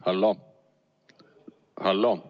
Hallo-hallo!